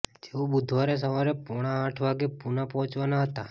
જેઓ બુધવારે સવારે પોણા આંઠ વાગે પુના પહોંચવાનાં હતાં